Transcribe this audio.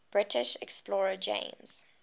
british explorer james